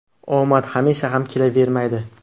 Omad hamisha ham kelavermaydi.